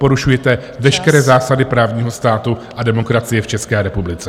Porušujte veškeré zásady právního státu a demokracie v České republice.